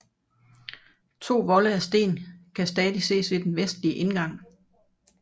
To volde af sten kan stadig ses ved den vestlige indgang